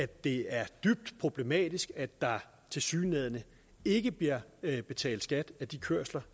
det er dybt problematisk at der tilsyneladende ikke bliver betalt skat af de kørsler